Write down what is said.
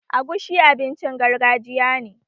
Agushi abincin gargajiya ne